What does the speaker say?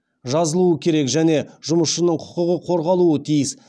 жазылуы керек және жұмысшының құқығы қорғалуы тиіс